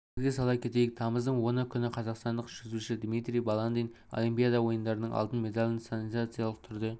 естеріңізге сала кетейік тамыздың оны күні қазақстандық жүзуші дмитрий баландин олимпиада ойындарының алтын медалін сенсациялық түрде